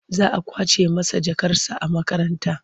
Za a ƙwace masa jakarsa a makaranta.